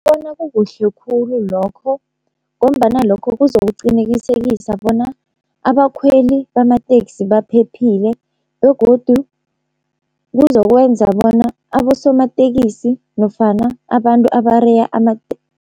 Bona kukuhle khulu lokho, ngombana lokho kuzokuqinekisekisa bona abakhweli bamateksi baphephile, begodu kuzokwenza bona abosomatekisi nofana abantu abareya